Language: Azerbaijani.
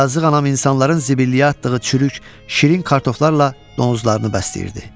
Yazıq anam insanların zibilliyə atdığı çürük, şirin kartoflarla donuzlarını bəsləyirdi.